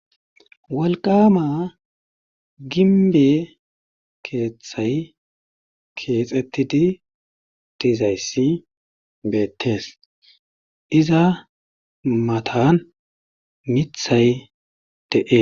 Wolqqaama gimbbee keethay keexettidi dizayssi beettees iza matan mithay de7ees.